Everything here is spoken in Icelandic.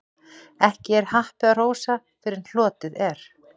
Ekki er happi að hrósa fyrr en hlotið er.